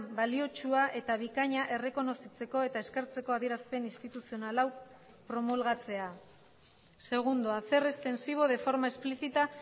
baliotsua eta bikaina errekonozitzeko eta eskertzeko adierazpen instituzional hau promulgatzea segundo hacer extensivo de forma explícita